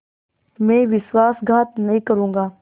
मैं विश्वासघात नहीं करूँगा